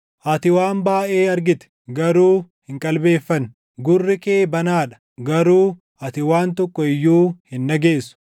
Ati waan baayʼee argite; garuu hin qalbeeffanne; gurri kee banaa dha; garuu ati waan tokko iyyuu hin dhageessu.”